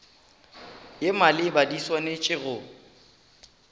ye maleba di swanetše go